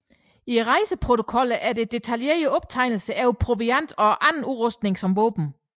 I rejseprotokollene er der detaljerede optegnelser over proviant og anden udrustning som våben